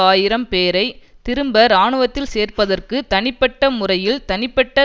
ஆயிரம் பேரை திரும்ப இராணுவத்தில் சேர்ப்பதற்கு தனிப்பட்ட முறையில் தனிப்பட்ட